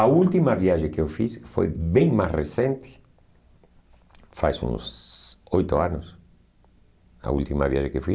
A última viagem que eu fiz foi bem mais recente, faz uns oito anos, a última viagem que eu fui.